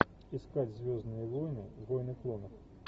искать звездные войны войны клонов